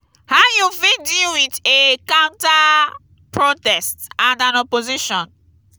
how you fit deal with a counter-protest and an opposition?